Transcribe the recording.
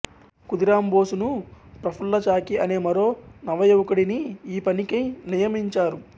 ఖుదీరాంబోసునూ ప్రఫుల్లచాకి అనే మరో నవయువకుడినీ ఈ పనికై నియమించారు